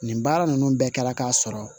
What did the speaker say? Nin baara ninnu bɛɛ kɛla k'a sɔrɔ